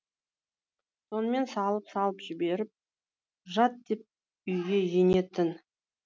сонымен салып салып жіберіп жат деп үйге енетін